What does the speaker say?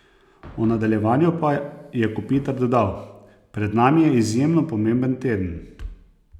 O nadaljevanju pa je Kopitar dodal: "Pred nami je izjemno pomemben teden.